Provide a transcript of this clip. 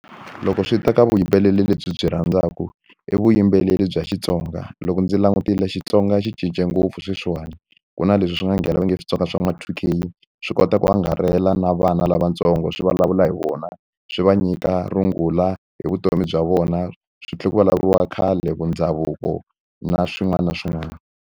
Loko swi ta ka vuyimbeleri lebyi byi rhandzaka i vuyimbeleri bya Xitsonga loko ndzi langutile Xitsonga xi cince ngopfu sweswiwani ku na leswi swi nga nghena va nge i switsonga swa ma two K swi kota ku angarhela na vana lavatsongo swi vulavula hi vona swi va nyika rungula hi vutomi bya vona swi tlhela ku vulavuriwa khale ku ndhavuko na swin'wana na swin'wana.